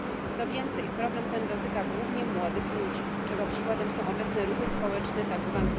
Co więcej, problem ten dotyka głównie młodych ludzi, czego przykładem są obecne ruchy społeczne tzw.